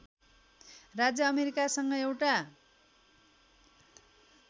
राज्य अमेरिकासँग एउटा